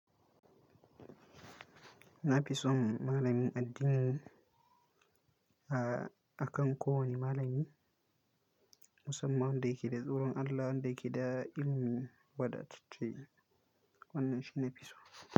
Na fi son malamin addini a, akan kowane malami. Musamman wanda yake da tsoron Allah, wanda yake da ilimin wadatacce. Wannan shi nafi so.